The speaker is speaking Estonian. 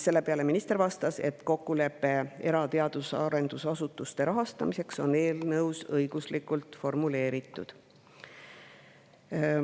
Sellele minister vastas, et kokkulepe era teadus- ja arendusasutuste rahastamiseks on eelnõus õiguslikult formuleeritud.